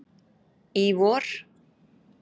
í vor.